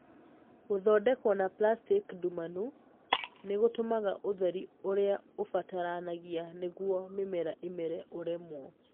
Gũthondekwo na plastiki ndumanu nĩ gũtũmaga ũtheri ũrĩa ũbataranagia nĩguo mĩmera ĩmere ũremwo.